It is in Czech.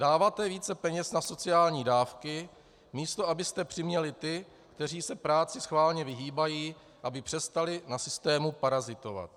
Dáváte více peněz na sociální dávky, místo abyste přiměli ty, kteří se práci schválně vyhýbají, aby přestali na systému parazitovat.